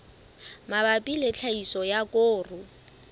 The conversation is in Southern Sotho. mabapi le tlhahiso ya koro